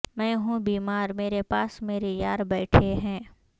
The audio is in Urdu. میں ہوں بیمار میرے پاس میرے یار بیٹھے ہیں